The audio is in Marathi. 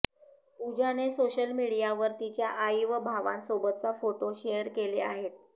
पूजाने सोशल मीडियावर तिच्या आई व भावासोबतचा फोटो शेअर केले आहेत